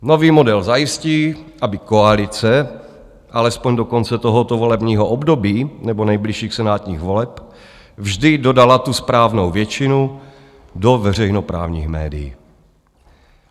Nový model zajistí, aby koalice, alespoň do konce tohoto volebního období nebo nejbližších senátních voleb, vždy dodala tu správnou většinu do veřejnoprávních médií.